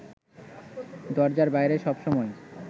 দরজার বাইরে সবসময়